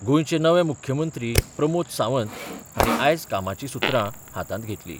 गोंयचे नवे मुख्यमंत्री प्रमोद सावंत हांणी आयज कामाची सुत्रां हातांत घेतली.